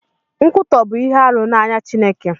Nkwụtọ bu ihe arụ n'anya Chineke.